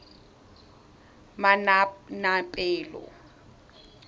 manaanepalo